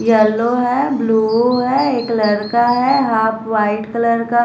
yellow है blue है एक लड़का का है हाफ वाइट कलर का--